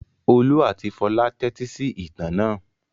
Olú àti Fọlá tẹ́tí sí ìtàn náà.